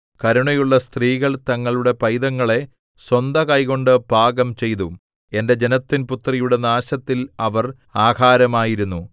കരുണയുള്ള സ്ത്രീകൾ തങ്ങളുടെ പൈതങ്ങളെ സ്വന്ത കൈകൊണ്ട് പാകം ചെയ്തു എന്റെ ജനത്തിൻപുത്രിയുടെ നാശത്തിൽ അവർ ആഹാരമായിരുന്നു